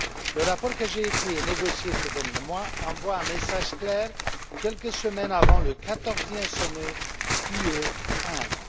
Le rapport que j'ai écrit et négocié ces derniers mois envoie un message clair quelques semaines avant le quatorzième sommet UE Inde.